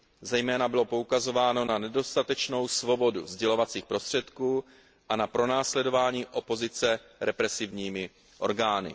Zejména bylo poukazováno na nedostatečnou svobodu sdělovacích prostředků a na pronásledování opozice represivními orgány.